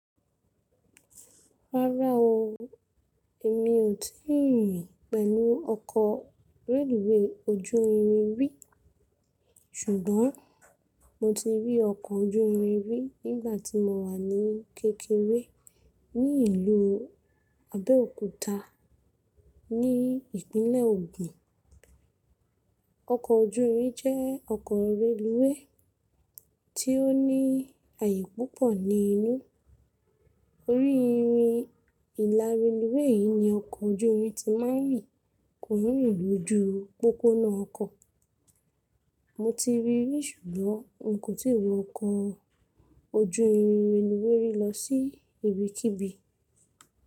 Rárá o, èmi ò tí ì rìn pẹ̀lú ọkọ̀ reluwé ojú irin rí. Ṣùgbọ́n mo ti rí ọkọ̀ ojú irin rí nígbà tí mo wà ní kékeré ní ìlú Abẹ́òkúta ní ìpínlẹ̀ Ògùn. Ọkọ̀ ojú irin jẹ́ ọkọ̀ reluwé tí ó ní àyè púpọ̀ ní inú. Orí irin ìlárinilwé yìí ni ọkọ̀ ojú irin ti máa ń rìn lójú pópónà ọkọ̀. Mo ti rí i ṣùgbọ́n n kò tíì wọ ọkọ̀ ojú irin reluwé rí lọ sí ibikíbi.